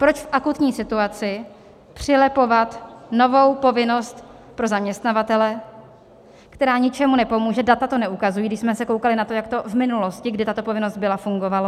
Proč v akutní situaci přilepovat novou povinnost pro zaměstnavatele, která ničemu nepomůže, data to neukazují, když jsme se koukali na to, jak to v minulosti, kdy tato povinnost byla, fungovalo.